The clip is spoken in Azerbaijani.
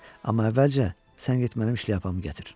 Amma əvvəlcə sən get mənim şlyapamı gətir.